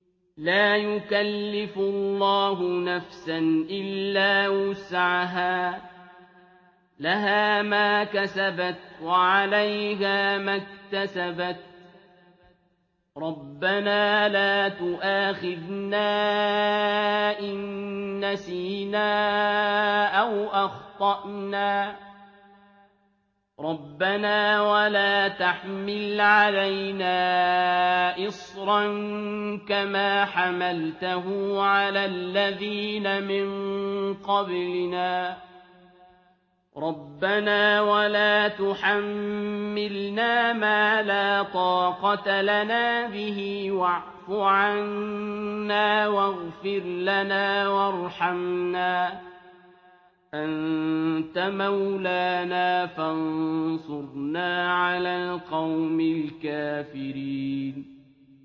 لَا يُكَلِّفُ اللَّهُ نَفْسًا إِلَّا وُسْعَهَا ۚ لَهَا مَا كَسَبَتْ وَعَلَيْهَا مَا اكْتَسَبَتْ ۗ رَبَّنَا لَا تُؤَاخِذْنَا إِن نَّسِينَا أَوْ أَخْطَأْنَا ۚ رَبَّنَا وَلَا تَحْمِلْ عَلَيْنَا إِصْرًا كَمَا حَمَلْتَهُ عَلَى الَّذِينَ مِن قَبْلِنَا ۚ رَبَّنَا وَلَا تُحَمِّلْنَا مَا لَا طَاقَةَ لَنَا بِهِ ۖ وَاعْفُ عَنَّا وَاغْفِرْ لَنَا وَارْحَمْنَا ۚ أَنتَ مَوْلَانَا فَانصُرْنَا عَلَى الْقَوْمِ الْكَافِرِينَ